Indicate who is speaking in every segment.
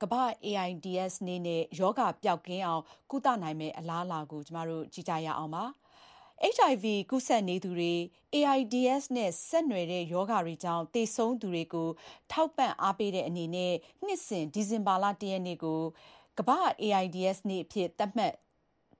Speaker 1: ကမ္ဘာ့ AIDS နေ့ နှင့် ရောဂါ ပျောက်ကင်းအောင် ကုသနိုင်မယ့် အလးအလာ HIV ကူးစက်နေသူတွေနဲ့ AIDS နဲ့ ဆက်နွယ်တဲ့ ရောဂါတွေကြောင့် သေဆုံးသူတွေကို ထောက်ပံ့ အားပေးတဲ့အနေနဲ့ နှစ်စဉ် ဒီဇင်ဘာလ ၁ ရက်နေ့ကို ကမ္ဘာ့ AIDS နေ့အဖြစ် သတ်မှတ်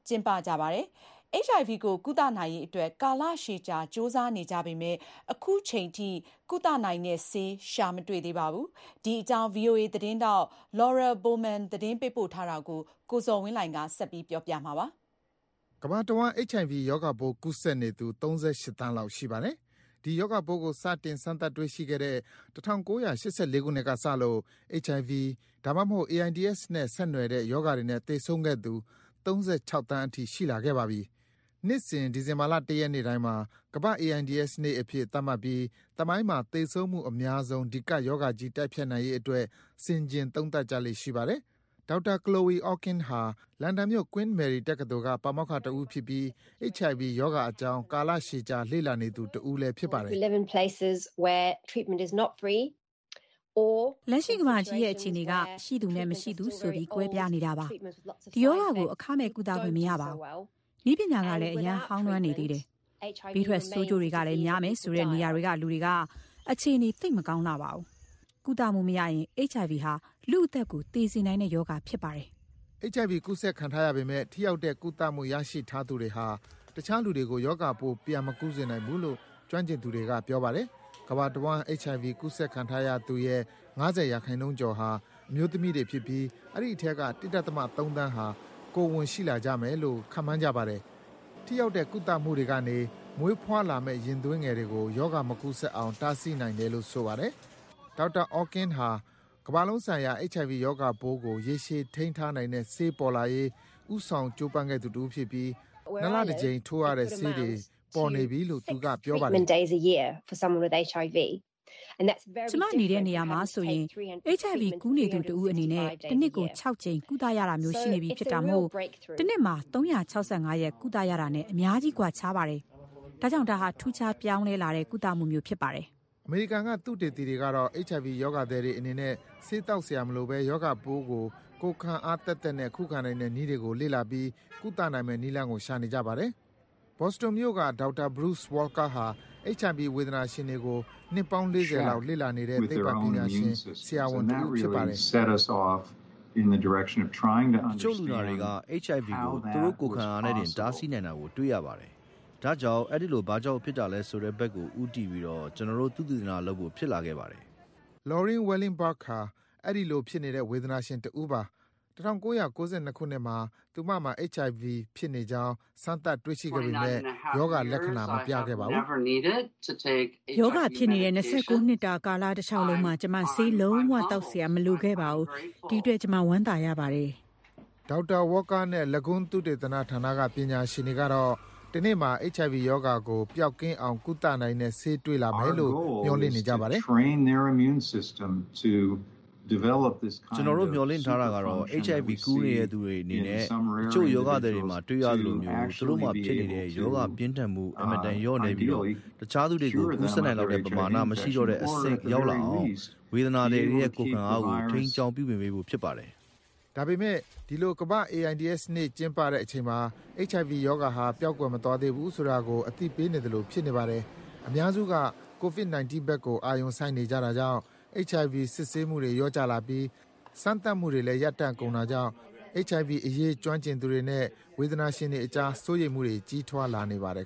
Speaker 1: ကျင်းပကြပါတယ်။ HIV ကို ကုသနိုင်ရေးအတွက် ကာလရှည်ကြာ ကြိုးစားနေကြပေမယ့် အခုချိန်ထိ ကုနိုင်တဲ့ဆေး ရှာမတွေ့သေးပါဘူး။ ဒီအကြောင်း ဗွီအိုအေသတင်းထောက် Laurel Bowman သတင်းပေးပို့ထားတာကို ကိုဇော်ဝင်းလှိုင်က တင်ပြပေးပါမယ်။ ကမ္ဘာတဝန်း HIV ရောဂါပိုးကူးစက်နေသူ ၃၈ သန်းလောက် ရှိပါတယ်။ ဒီရောဂါပိုးကို စတင် စမ်းသပ်တွေ့ရှိတဲ့ ၁၉၈၄ ခုနှစ်ကစလို့ HIV ဒါမှမဟုတ် AIDS နဲ့ ဆက်နွယ်နဲ့ရောဂါတွေနဲ့ သေဆုံးခဲ့သူ ၃၆ သန်းအထိ ရှိလာခဲ့ပါပြီ။ နှစ်စဉ် ဒီဇင်ဘာ ၁ ရက်နေ့တိုင်းမှာ ကမ္ဘာ့ AIDS နေ့အဖြစ် သတ်မှတ်ပြီး သမိုင်းမှာ သေဆုံးမှုအများဆုံး ဒီ ကပ်ရောဂါကြီးကို တိုက်ဖျက်နိုင်ရေးအတွက် ဆင်ခြင် သုံးသပ်ကြလေ့ ရှိပါတယ်။ ဒေါက်တာ Chloe Orkin ဟာ လန်ဒန်မြို့၊ Queen Mary တက္ကသိုလ်က ပါမောက္ခတဦးဖြစ်ပြီး HIV ရောဂါအကြောင်း ကာလရှည်ကြာ လေ့လာနေသူတဦးဖြစ်ပါတယ်။ “လက်ရှိ ကမ္ဘာကြီးရဲ့ အခြေအနေက ရှိသူနဲ့ မရှိသူဆိုပြီး ကွဲပြားနေတာပါ။ ဒီရောဂါကို အခမဲ့ ကုသခွင့် မရဘူး၊ နည်းပညာကလည်း အရမ်း ဟောင်းနွမ်းနေသေးတယ်၊ ဘေးထွက်ဆိုးကျိုးတွေကလည်းများမယ်ဆိုတဲ့ နေရာတွေကလူတွေက အခြေအနေ သိပ်မကောင်းလှဘူး။ ကုသမှုမရရင် HIV ဟာ လူ့အသက်ကို သေစေနိုင်တဲ့ ရောဂါဖြစ်ပါတယ်။” HIV ကူးစက်ခံထားရပေမယ့် ထိရောက်တဲ့ ကုသမှုရရှိသူတွေဟာ တခြားလူကို ရောဂါပိုး ပြန်မကူးစေနိုင်ဘူးလို့ ကျွမ်းကျင်သူတွေက ပြောပါတယ်။ ကမ္ဘာတဝန်း HIV ကူးစက်ခံထားသူရဲ့ ၅၀% ကျော်ဟာ အမျိုးသမီးတွေဖြစ်ပြီး အဲဒီအထဲက ၁.၃ သန်းဟာ ကိုယ်ဝန် ရှိလာကြမယ်လို့ ဆိုပါတယ်။ ထိရောက်တဲ့ ကုသမှုကနေ မွေးလာမယ့်ရင်သွေးကို ရောဂါမကူးစက်အောင် တားဆီးနိုင်တယ်လို့ ဆိုပါတယ်။ ဒေါက်တာ Orkin ဟာ ကမ္ဘာလုံးဆိုင်ရာ HIV ရောဂါပိုးကို ရေရှည် ထိန်းထားနိုင်တဲ့ဆေးပေါ်လာရေး ဦးဆောင် ကြိုးပမ်းခဲ့သူတဦးဖြစ်ပြီး ၂ လ တကြိမ်ထိုးရတဲ့ဆေးတွေ ပေါ်နေပြီလို့ သူက ပြောပါတယ်။ “ကျမနေတဲ့နေရာမှာဆိုရင် HIV ကူးနေသူတဦးအနေနဲ့ တနှစ်ကို ၆ ကြိမ် ကုသရတာမျိုး ရှိနေပြီဖြစ်တာမို့ တနှစ်မှာ ၃၆၅ ရက် ကုသရတာနဲ့ အများကြီး ကွာခြားပါတယ်။ ဒါကြောင့် ဒါဟာ ထူးခြားပြောင်းလဲလာတဲ့ ကုသမှုမျိုး ဖြစ်ပါတယ်။” အမေရိကန်က သုတေသီတွေကတော့ HIV ရောဂါသည်တွေအနေနဲ့ ဆေးသောက်စရာမလိုဘဲ ရောဂါပိုးကို ကိုယ်ခံအားသက်သက်နဲ့ ခုခံနိုင်တဲ့သူတွေကို လေ့လာပြီး ကုသနိုင်မယ့်နည်းလမ်းကို ရှိနေကြပါတယ်။ ဘော်စတွန်မြို့က ဒေါက်တာ Bruce Walker ဟာ HIV ဝေဒနာရှင်တွေကို နှစ်ပေါင်း ၄၀ လောက် လေ့လာနေတဲ့ သိပ္ပံပညာရှင် ဆရာဝန်တဦး ဖြစ်ပါတယ်။ “တချို့လူနာတွေက HIV ကို သူတို့ကိုယ်ခံအားနဲ့တင် တားဆီးထားနိုင်တာကို တွေ့ရပါတယ်။ ဒါကြောင့် အဲဒီလို ဘာကြောင့်ဖြစ်တာလဲဆိုတဲ့ဘက်ကို ဦးတည်ပြီး ကျနော်တို့ သုတေသနလုပ်ဖို့ ဖြစ်လာခဲ့ပါတယ်။” Loreen Willenberg ဟာ အဲဒီလိုဖြစ်နေတဲ့ ဝေဒနာရှင်တဦးပါ။ ၁၉၉၂ ခုနှစ်မှာ သူမမှာ HIV ဖြစ်နေကြောင်း စမ်းသပ် တွေ့ရှိခဲ့ပေမယ့် ရောဂါလက္ခဏာ မပြခဲ့ပါဘူး။ “ရောဂါဖြစ်နေတဲ့ ၂၉ နှစ်တာကာလတလျှောက်လုံး ကျမ ဆေးလုံး၀ သောက်စရာ မလိုခဲ့ပါဘူး။ အဲဒီအတွက် ကျမ ဝမ်းသာရပါတယ်။” ဒေါက်တာ Walker နဲ့ Lagon သုတေသနဌာနက သူတွေကတော့ တနေ့မှာ HIV ရောဂါကို ပျောက်ကင်းနိုင်အောင် ကုနိုင်တဲ့ ဆေးတွေ့လာမယ်လို့ မျှော်လင့်နေကြပါတယ်။ “ကျနော်တို့ မျှော်လင့်တာကတော့ HIV ကူးနေသူတွေအနေနဲ့ တချို့ ရောဂါသည်တွေမှာ တွေ့ရသလိုမျိုး သူတို့မှာဖြစ်နေတဲ့ ရောဂါပြင်းထန်မှု အင်မတန် လျော့နည်းပြီး တခြားလူတွေကို ကူးစက်နိုင်လောက်တဲ့ပမာဏကို မရှိတော့တဲ့အဆင့် ရောက်လာအောင် ဝေဒနာသည်တွေရဲ့ ကိုယ်ခံအားကို ထိန်းကျောင်း ပြုပြင်ပေးဖို့ ဖြစ်ပါတယ်။” ဒါပေမယ့် ဒီလို ကမ္ဘာ့ AIDS နေ့ကျင်းပတဲ့အချိန်မှာ HIV ရောဂါဟာ ပျောက်ကွယ်မသွားသေးဘူးဆိုတာကို သတိပေးနေသလို ဖြစ်နေပါတယ်။ အများစုက ကိုဗစ်-၁၉ ကို အာရုံစိုက်နေကြတာကြောင့် HIV စစ်ဆေးမှုတွေ လျော့ကျလာပြီး စမ်းသပ်မှုတွေလည်း ရပ်တန့်ကုန်တာကြောင့် HIV အရေး ကျွမ်းကျင်သူတွေနဲ့ ဝေနာရှင်တွေအကြား စိုးရိမ်မှုတွေ ကြီးထွားလာနေပါတယ်